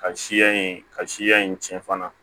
Ka siya in ka siya in cɛn fana